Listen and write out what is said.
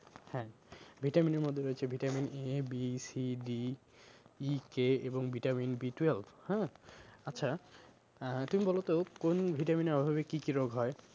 হ্যাঁ vitamin এর মধ্যে রয়েছে vitamin A, B, C, D, E, K এবং vitamin B twelve হ্যাঁ? আচ্ছা আহ তুমি বলো তো কোন vitamin এর অভাবে কি কি রোগ হয়?